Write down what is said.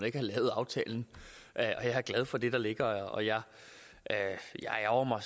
ikke have lavet aftalen jeg er glad for det der ligger og jeg ærgrer